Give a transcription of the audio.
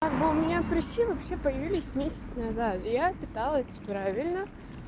как бы у меня прыщи вообще появились месяц назад я питалась правильно